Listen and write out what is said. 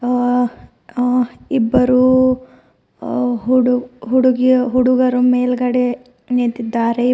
ಆ ಆ ಇಬ್ಬರೂ ಆ ಹುಡು ಹುಡುಗಿಯ ಹುಡುಗರು ಮೇಲ್ಗಡೆ ನಿಂತಿದ್ದಾರೆ.